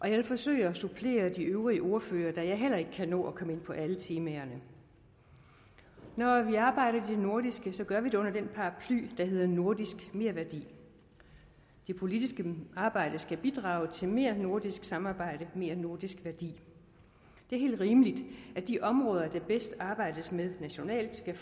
jeg vil forsøge at supplere de øvrige ordførere da jeg heller ikke kan nå at komme ind på alle temaerne når vi arbejder i det nordiske gør vi det under den paraply der hedder nordisk merværdi det politiske arbejde skal bidrage til mere nordisk samarbejde mere nordisk værdi det er helt rimeligt at de områder der bedst arbejdes med nationalt skal